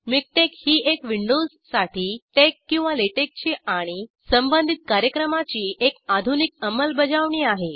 MiKTeX ही एक विंडोजसाठी टेक्स किंवा लॅटेक्स ची आणि संबंधित कार्यक्रमाची एक आधुनिक अंमलबजावणी आहे